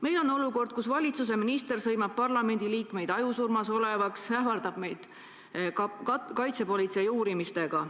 Meil on olukord, kus valitsuse minister sõimab parlamendiliikmeid, nimetades neid ajusurmas olevaks, ja ähvardab meid kaitsepolitsei uurimisega.